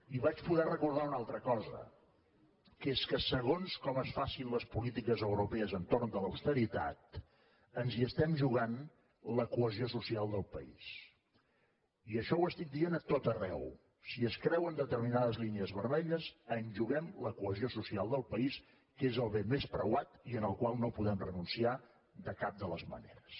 i vaig poder recordar una altra cosa que és que segons com es facin les polítiques europees entorn de l’austeritat ens hi estem jugant la cohesió social del país i això ho dic a tot arreu si es creuen determinades línies vermelles ens juguem la cohesió social del país que és el bé més preuat i al qual no podem renunciar de cap de les maneres